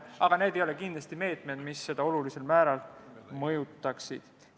Aga need ei ole kindlasti meetmed, mis seda olulisel määral mõjutaksid.